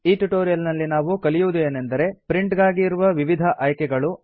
ಈ ಟ್ಯುಟೋರಿಯಲ್ ನಲ್ಲಿ ನಾವು ಕಲಿಯುವುದು ಏನೆಂದರೆ ಪ್ರಿಂಟ್ ಗಾಗಿ ಇರುವ ವಿವಿಧ ಆಯ್ಕೆಗಳು